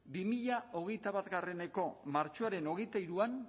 bi mila hogeita bateko martxoaren hogeita hiruan